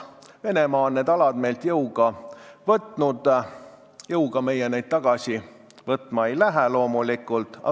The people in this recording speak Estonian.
Venemaa on need alad meilt jõuga võtnud, jõuga meie neid tagasi võtma loomulikult ei lähe.